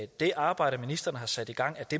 det arbejde ministeren har sat i gang